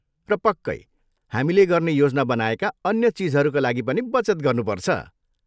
र पक्कै, हामीले गर्ने योजना बनाएका अन्य चिजहरूका लागि पनि बचत गर्नुपर्छ।